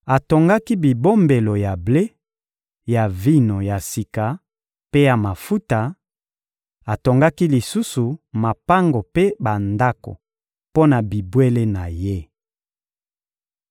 Atongaki bibombelo ya ble, ya vino ya sika mpe ya mafuta; atongaki lisusu mapango mpe bandako mpo na bibwele na ye.